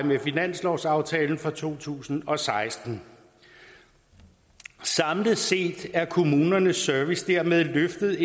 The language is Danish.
med finanslovsaftalen for to tusind og seksten samlet set er kommunernes service dermed løftet